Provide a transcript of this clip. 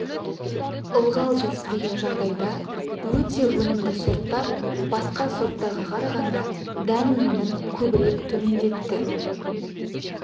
ылғал жетіспеген жағдайда өте өнімді сорттар басқа сорттарға қарағанда дән өнімін көбірек төмендетті